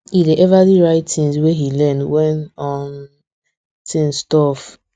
e dey everly write things wey he learn when um things tough